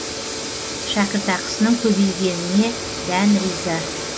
шәкіртақысының көбейгеніне дән риза